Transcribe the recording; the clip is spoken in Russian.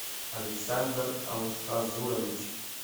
александр алхазурович